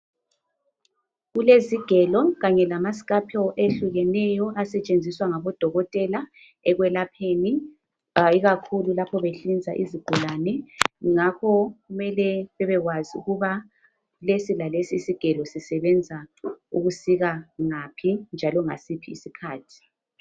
Kulezigelo kanye lama scapel ehlukeneyo asetshenziswa ngabodokotela ekwelapheni ikakhulu lapho behlinza izigulani ngakho mele bebekwazi ukuba lesilalesi isigelo sisebenza ukusika ngaphi njalo ngasiphi isikhathi.